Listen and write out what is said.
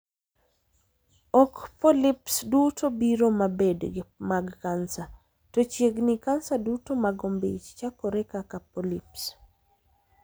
Ok 'polyps' duto biro ma bed mag kansa, to chiegni kansa duto mag ombich chakore kaka 'polyps'.